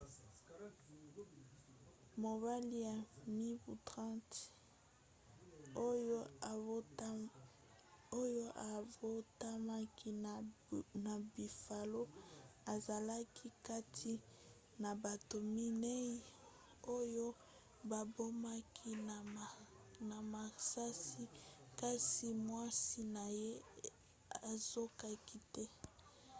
mobali ya mibu 30 oyo abotamaki na buffalo azalaki kati na bato minei oyo babomaki na masasi kasi mwasi na ye azokaki te